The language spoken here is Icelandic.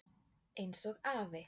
Eins og afi.